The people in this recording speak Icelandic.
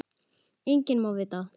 Enginn má það vita.